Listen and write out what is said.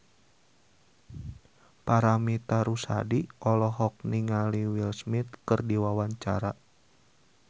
Paramitha Rusady olohok ningali Will Smith keur diwawancara